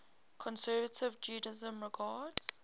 conservative judaism regards